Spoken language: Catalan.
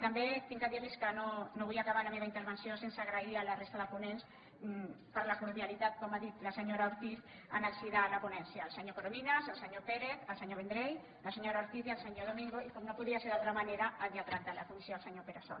també he de dir los que no vull acabar la meva intervenció sense agrair a la resta de ponents la cordialitat com ha dit la senyora ortiz en el si de la ponència el senyor corominas el senyor pérez el senyor vendrell la senyora ortiz i el senyor domingo i com no podia ser d’altra manera al lletrat de la comissió el senyor pere sol